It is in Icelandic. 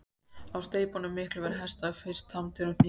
Á steppunum miklu voru hestar fyrst tamdir og nytjaðir.